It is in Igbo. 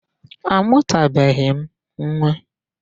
A mụtabeghị m nwa.